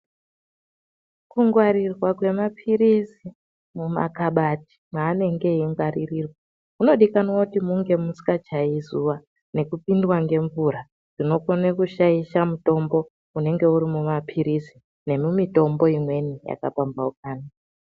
Kungwarirwa kwemaphirizi mumakabati mwaanenge eingwaririrwa munodikanwa kuti munge musingachayi zuwa nekupindwa ngemvura zvinokone kushaisha mutombo unenge uri mumaphirizi nemumitombo imweni yakapamhaukana.